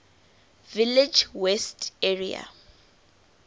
village west area